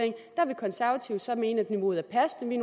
konservative så mene at niveauet er passende